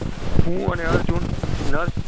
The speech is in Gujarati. હું અને અર્જુન nurse